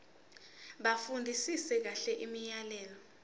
bafundisise kahle imiyalelo